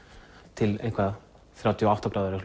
til þrjátíu og átta gráður eða